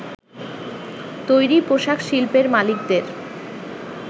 তৈরি পোশাক শিল্পের মালিকদের